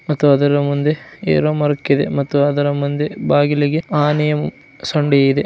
ಮತ್ತು ಅದರ ಮುಂದೆ ಏನೋ ಮಾರ್ಕ್ ಇದೆ ಮತ್ತು ಅದರ ಮುಂದೆ ಬಾಗಿಲಿಗೆ ಆನೆಯ ಸೊಂಡಿ ಇದೆ--